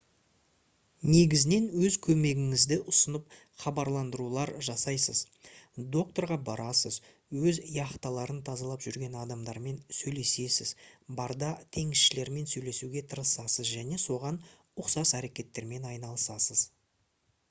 негізінен өз көмегіңізді ұсынып хабарландырулар жасайсыз доктарға барасыз өз яхталарын тазалап жүрген адамдармен сөйлесесіз барда теңізшілермен сөйлесуге тырысасыз және соған ұқсас әрекеттермен айналысасыз